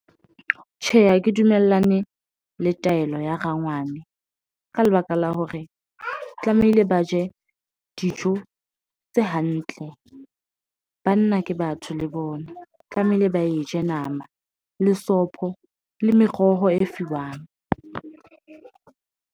Tjhe, ha ke dumellane le taelo ya rangwane. Ka lebaka la hore tlamehile ba je dijo tse hantle. Banna ke batho le bona, tlamehile ba e je nama le sopho le meroho e fiwang.